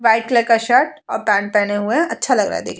white colour का shirt और pant पहने हुए है अच्छा लग रहा है देखने में --